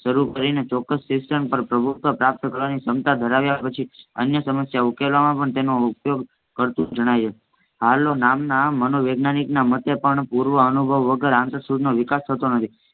શરૂ કરીને ચોક્કસ શિક્ષા પર પ્રભુત્વ પ્રાપ્ત કરવાની ક્ષમતા ધરાવ્યા પછી અન્ય સમસ્યા ઉકેલવામાં પણ તેનો ઉપયોગ કરતુ જણાય છે. હાર્લી નામના મનોવૈજ્ઞાનિના મતે પણ પુર્વ અનુભવ વગર આંતરસૂઝનો વિકાસ થતો નથી.